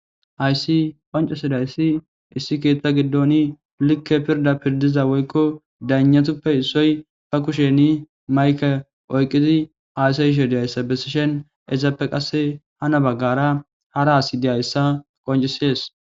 hayssi qoncesidayssi issi keetta giddoni likke pirda pirdiza woykko dayanatuppe issoy ba kusheni mayke oyqqidi haysayishe diyayssa bessishen ezappe qasse hana baggara hara hasi diyayssa qoncisees